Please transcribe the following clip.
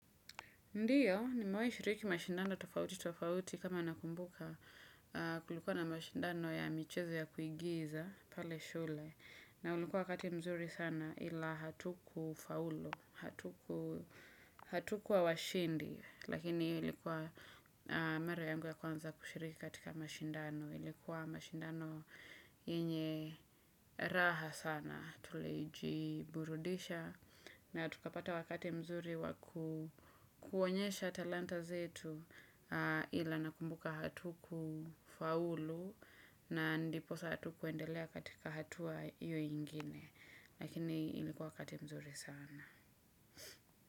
Ndio nimewahi shiriki mashindano tofauti tofauti, kama nakumbuka. Kulikuwa na mashindano ya michezo ya kuigiza pale shule. Na ulikuwa wakati mzuri sana, ila hatukufaulu. Hatukuwa washindi. Lakini ilikuwa ni mara yangu ya kwanza kushiriki katika mashindano ilikuwa mashindano yenye raha sana, tulijiburudisha na tukapata wakati mzuri wakuonyesha talanta zetu ila nakumbuka hatukufaulu na ndiposa hatukuendelea katika hatua hio ingine lakini ilikuwa wakati mzuri sana.